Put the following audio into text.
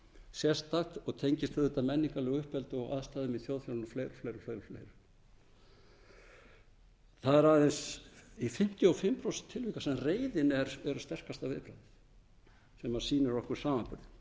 sérstakt og tengist auðvitað menningarlegu uppeldi og aðstæðum í þjóðfélaginu og fleiri og fleira það er aðeins í fimmtíu og fimm prósent tilvika sem reiðin er sterkasta viðbragðið sem sýnir okkur samanburðinn